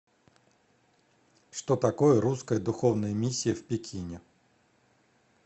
что такое русская духовная миссия в пекине